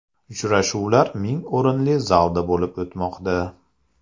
Uchrashuvlar ming o‘rinli zalda bo‘lib o‘tmoqda.